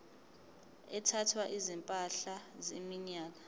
ethwala izimpahla iminyaka